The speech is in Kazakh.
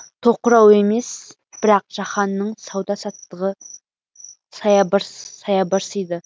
тоқырау емес бірақ жаһанның сауда саттығы саябырсиды